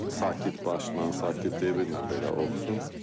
Sakit başla, sakit deyirəm belə oxusun.